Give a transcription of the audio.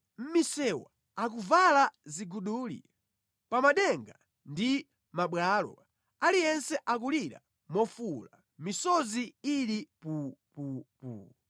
Mʼmisewu akuvala ziguduli; pa madenga ndi mʼmabwalo aliyense akulira mofuwula, misozi ili pupupu.